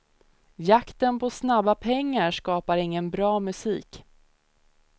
Jakten på snabba pengar skapar ingen bra musik.